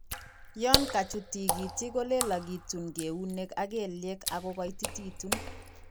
Yan kachu tigitik kolelagitun neunek ak kelyek akogaititegitun